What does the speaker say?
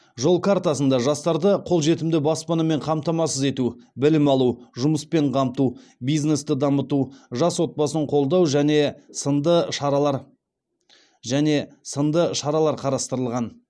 жол картасында жастарды қол жетімді баспанамен қамтамасыз ету білім алу жұмыспен қамту бизнесті дамыту жас отбасын қолдау және сынды шаралар қарастырылған